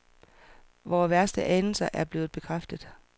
Vore værste anelser er blevet bekræftet.